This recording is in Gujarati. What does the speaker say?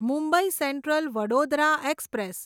Mumbai central Vadodara express